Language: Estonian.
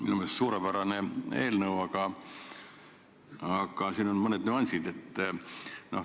Minu meelest suurepärane eelnõu, aga siin on mõned nüansid.